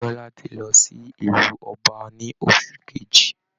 Bíọ́lá ti lọ sí ilú ọba ní ọsù kejì